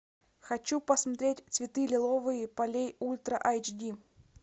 хочу посмотреть цветы лиловые полей ультра айч ди